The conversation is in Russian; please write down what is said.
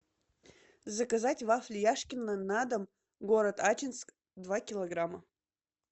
заказать вафли яшкино на дом город ачинск два килограмма